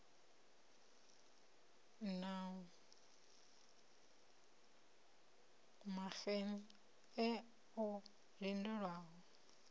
na maxenn e o lindelaho